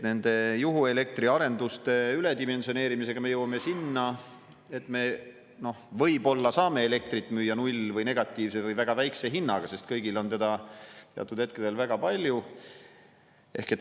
Juhuelektri arenduste üledimensioneerimisega me jõuame sinna, et me võib-olla saame elektrit müüa null‑ või negatiivse või väga väikese hinnaga, sest kõigil on seda teatud hetkedel väga palju.